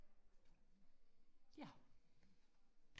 ja